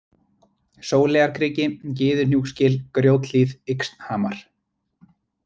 Sóleyjarkriki, Gyðuhnjúksgil, Grjóthlíð, Yxnhamar